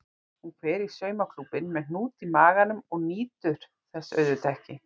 Hún fer í saumaklúbbinn með hnút í maganum og nýtur þess auðvitað ekki.